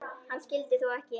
Hann skyldi þó ekki.